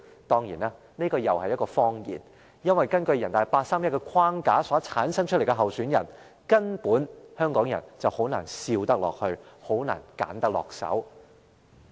誠然，這又是一個謊言，因為，根據人大常委會八三一框架產生出的候選人，香港人根本難以選擇，也難以帶笑投票。